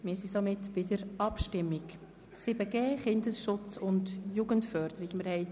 Wir sind somit bei den Abstimmungen zum Themenblock 7.g Kindesschutz und Jugendförderung angelangt.